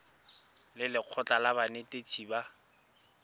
le lekgotlha la banetetshi ba